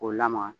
K'o lamaga